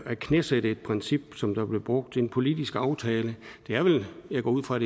at knæsætte et princip som der blev brugt i en politisk aftale det er vel jeg går ud fra